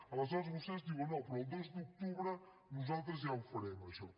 aleshores vostès diuen no però el dos d’octubre nosaltres ja ho farem això